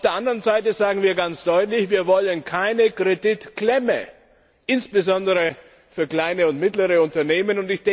Auf der anderen Seite sagen wir ganz deutlich Wir wollen keine Kreditklemme, insbesondere für kleine und mittlere Unternehmen.